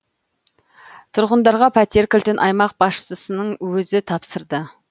тұрғындарға пәтер кілтін аймақ басшысының өзі тапсырды